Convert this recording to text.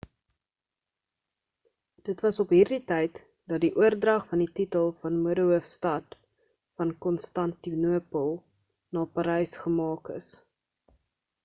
dit was op hierdie tyd dat die oordrag van die titel van modehoofstad van konstantinopel na parys gemaak is